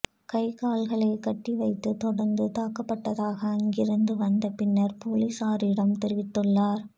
கை கால்களை கட்டி வைத்து தொடர்ந்து தாக்கப்பட்டதாக அங்கிருந்து வந்த பின்னர் பொலிசாரிடம் தெரிவித்துள்ளார்